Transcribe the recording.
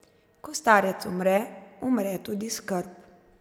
Ko starec umre, umre tudi skrb.